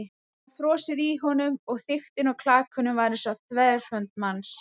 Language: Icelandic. Það var frosið í honum- og þykktin á klakanum var eins og þverhönd manns.